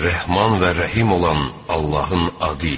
Rəhman və Rəhim olan Allahın adı ilə.